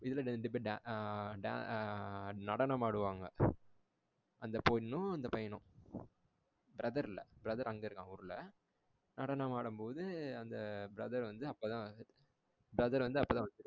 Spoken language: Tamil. இதுல ரெண்டு பேரு டா ஆ டா ஆ நடனம் ஆடுவாங்க. அந்த பொன்னும் அந்த பையனும். Brother இல்ல brother அங்க இருக்கான் ஊருல. நடனம் ஆடும் போது அந்த brother வந்து அப்போதான் வந்து brother வந்து அப்போதான் வந்து